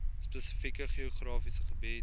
spesifieke geografiese gebied